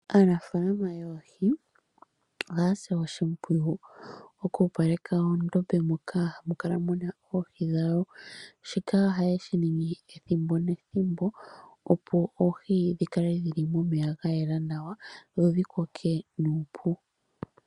Aanafaalama yoohi, ohaya si oshimpwiyu oku opaleka oondombe moka hamu kala muna oohi dhawo. Shika oha yeshi ningi ethimbo nethimbo, opo oohi dhi kale dhili momeya ga yela nawa dho dhi koke nuupu.